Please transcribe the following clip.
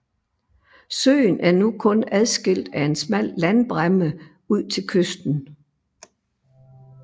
Søen er nu kun adskilt af en smal landbræmme ud til kysten